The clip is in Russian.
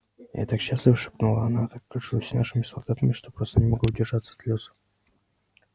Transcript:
я так счастлива шепнула она так горжусь нашими солдатами что просто не могу удержаться от слёз